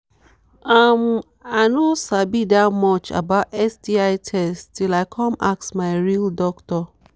um i no sabi that much about sti test till i come ask my real doctor